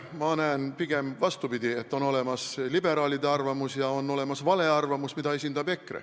Mina näen, et pigem on vastupidi, on olemas liberaalide arvamus ja on olemas vale arvamus, mida esindab EKRE.